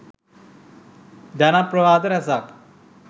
ජනප්‍රවාද රැසක්